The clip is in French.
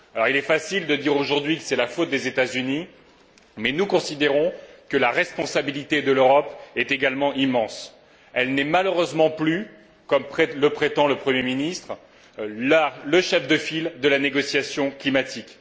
Il est facile de dire que c'est la faute des États Unis, mais nous considérons que la responsabilité de l'Europe est également immense. Elle n'est malheureusement plus, comme le prétend le Premier ministre, le chef de file de la négociation climatique.